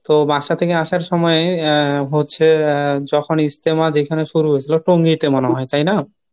তো বাসা থেকে আসার সময় আহ হচ্ছে আহ যখন ইজতেমা যেখানে শুরু হয়েছিল টঙ্গীতে মনে হয় তাইনা?